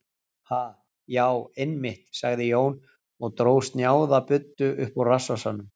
Ha, já, einmitt, sagði Jón og dró snjáða buddu upp úr rassvasanum.